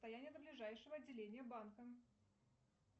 расстояние до ближайшего отделения банка